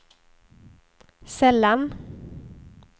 sällan